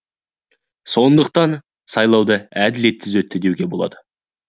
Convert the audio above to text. сондықтан сайлауды әділетсіз өтті деуге болады